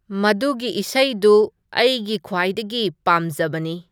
ꯃꯗꯨꯒꯤ ꯏꯁꯩꯗꯨ ꯑꯩꯒꯤ ꯈ꯭ꯋꯥꯏꯗꯒꯤ ꯄꯥꯝꯖꯕꯅꯤ